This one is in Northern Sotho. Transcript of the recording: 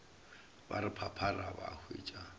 ba re phaphara ba hwetša